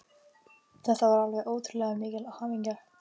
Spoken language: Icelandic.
Þetta var alveg ótrúlega mikil hamingja.